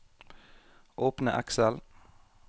Åpne Excel